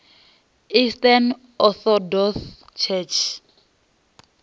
eastern orthodox church